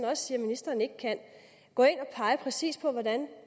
også at ministeren ikke kan gå ind og pege præcis på hvordan